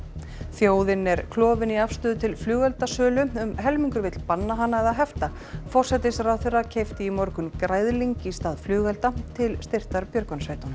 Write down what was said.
þjóðin er klofin í afstöðu til flugeldasölu um helmingur vill banna hana eða hefta forsætisráðherra keypti í morgun græðling í stað flugelda til styrktar björgunarsveitunum